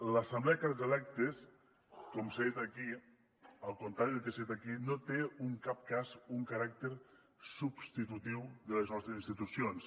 l’assemblea de càrrecs electes al contrari del que s’ha dit aquí no té en cap cas un caràcter substitutiu de les nostres institucions